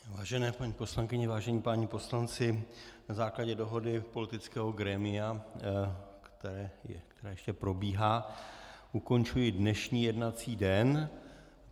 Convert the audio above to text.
Vážené paní poslankyně, vážení páni poslanci, na základě dohody politického grémia, které ještě probíhá, ukončuji dnešní jednací den.